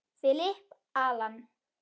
Philip, Allan.